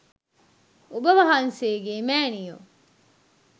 ඔබ වහන්සේගේ මෑණියො